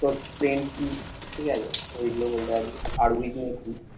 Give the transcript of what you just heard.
তোর strangth কি? ঠিক আছে। তো এগুলো বলতে পারবি। আর weakness কি?